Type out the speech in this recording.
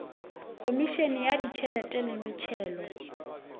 khomišene ya ditšhelete le metšhelo